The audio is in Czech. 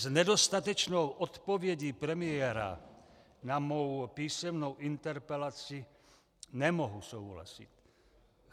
S nedostatečnou odpovědí premiéra na mou písemnou interpelaci nemohu souhlasit.